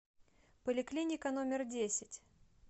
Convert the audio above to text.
поликлиника номер десять